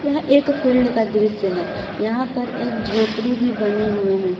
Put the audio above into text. यह एक फील्ड का दृश्य है यहां पर एक झोपड़ी भी बने हुए हैं।